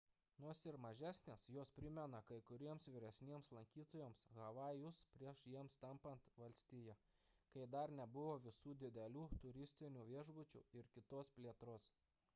nors ir mažesnės jos primena kai kuriems vyresniems lankytojams havajus prieš jiems tampant valstija kai dar nebuvo visų didelių turistinių viešbučių ir kitos plėtros